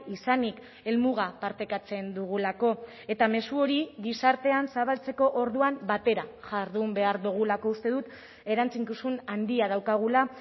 izanik helmuga partekatzen dugulako eta mezu hori gizartean zabaltzeko orduan batera jardun behar dugulako uste dut erantzukizun handia daukagula